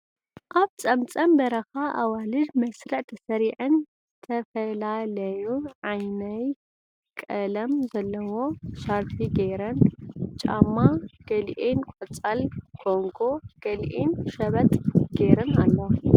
ኣብ ፀምፀም በረካ ኣዋልድ መስርዕ ተስሪዐን ዝተፍላለይ ዓይነይ ቀለም ዘለዎ ሻርፒ ገይረን ጫማ ግሊኣን ቆፃል ኮንጎ ግሊኣአን ሽበጥ ገይረን ኣልዋ።